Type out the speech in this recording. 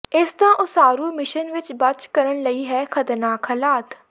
ਇਸ ਦਾ ਉਸਾਰੂ ਮਿਸ਼ਨ ਵਿੱਚ ਬਚ ਕਰਨ ਲਈ ਹੈ ਖਤਰਨਾਕ ਹਾਲਾਤ